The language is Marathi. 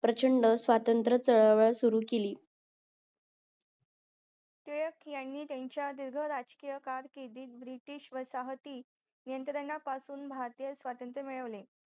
प्रचंड सावतंत्र चळवळ टिळकयांनी त्यांच्या दिर्घ राजकीय ब्रिटिश वसाहती यंत्रणापासून भारतीय सावतंत्र मिळवले